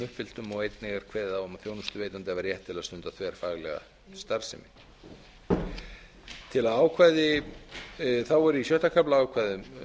uppfylltum einnig er kveðið á um að þjónustuveitanda hafi rétt til að stunda þverfaglega starfsemi þá er í sjötta kafla ákvæði um